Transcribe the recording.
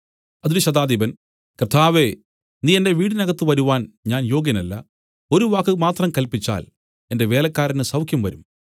അതിന് ശതാധിപൻ കർത്താവേ നീ എന്റെ വീടിനകത്ത് വരുവാൻ ഞാൻ യോഗ്യനല്ല ഒരു വാക്കുമാത്രം കല്പിച്ചാൽ എന്റെ വേലക്കാരന് സൌഖ്യംവരും